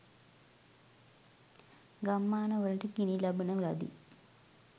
ගම්මාන වලට ගිනි ලබන ලදී.